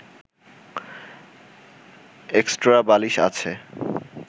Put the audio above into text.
extra বালিশ আছে